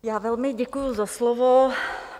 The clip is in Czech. Já velmi děkuju za slovo.